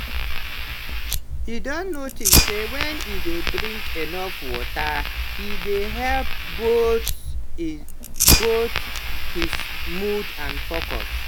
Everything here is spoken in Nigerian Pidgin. he don notice say when he dey drink enough water e dey help both both his mood and focus.